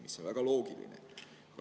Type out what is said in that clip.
" See on väga loogiline.